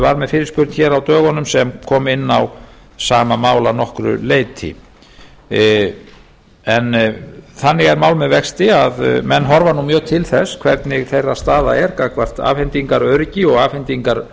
var með fyrirspurn á dögunum sem kom inn á sama mál að nokkru leyti þannig er mál með vexti að menn horfa nú mjög til þess hvernig þeirra staða er gagnvart afhendingaröryggi og